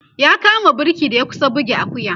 ya kama burki da ya kusa buge Akuya